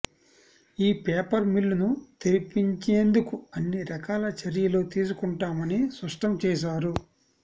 ఈ పేపర్ మిల్లును తెరిపించేందుకు అన్ని రకాల చర్యలు తీసుకుంటామని స్పష్టం చేశారు